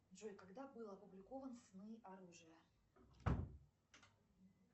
джой когда был опубликован сны оружия